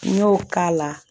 N y'o k'a la